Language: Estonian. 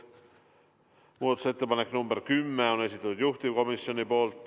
Muudatusettepanek nr 10, esitanud juhtivkomisjon.